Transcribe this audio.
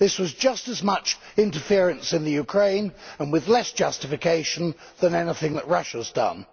This was just as much interference in Ukraine, and with less justification, than anything that Russia has done.